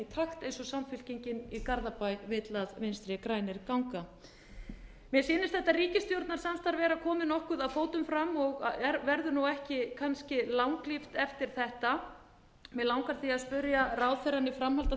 takt eins og samfylkingin í garðabæ vill að vinstri grænir gangi mér sýnist þetta ríkisstjórnarsamstarf vera komið nokkuð að fótum fram og verður nú ekki kannski langlíft eftir þetta mig langar því að spyrja ráðherrann í framhaldi af